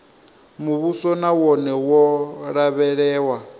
muvhuso na wone wo lavhelewa